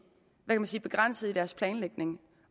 begrænset i deres planlægning